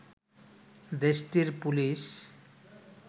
দেশটির পুলিশ